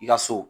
I ka so